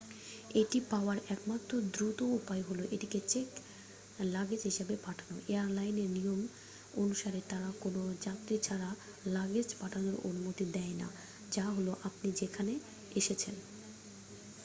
এটি পাওয়ার একমাত্র দ্রুত উপায় হলো এটিকে চেক লাগেজ হিসাবে পাঠানো এয়ারলাইনের নিয়ম অনুসারে তারা কোনও যাত্রী ছাড়া লাগেজ পাঠানোর অনুমতি দেয় না যা হলো আপনি যেখানে এসেছেন